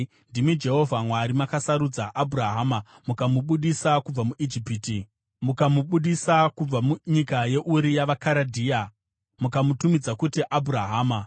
“Ndimi Jehovha Mwari, makasarudza Abhurahama mukamubudisa kubva munyika yeUri yavaKaradhea mukamutumidza kuti Abhurahama.